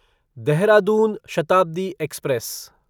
Dehradun Shatabdi express